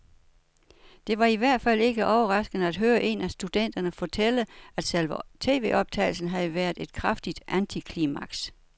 Det var i hvert fald ikke overraskende at høre en af studenterne fortælle, at selve tvoptagelsen havde været et kraftigt antiklimaks.